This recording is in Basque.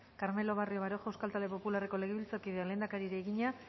carmelo barrio baroja euskal talde popularreko legebiltzarkideak lehendakariari egina